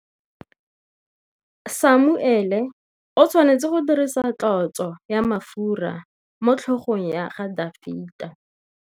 Samuele o tshwanetse go dirisa tlotsô ya mafura motlhôgong ya Dafita.